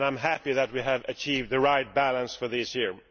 I am happy that we have achieved the right balance for this year.